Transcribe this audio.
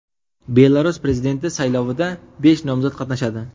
Belarus prezidenti saylovida besh nomzod qatnashadi.